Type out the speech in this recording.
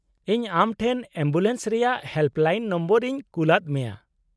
-ᱤᱧ ᱟᱢ ᱴᱷᱮᱱ ᱮᱢᱵᱩᱞᱮᱱᱥ ᱨᱮᱭᱟᱜ ᱦᱮᱞᱯᱞᱟᱭᱤᱱ ᱱᱚᱢᱵᱚᱨ ᱤᱧ ᱠᱩᱞᱟᱫ ᱢᱮᱭᱟ ᱾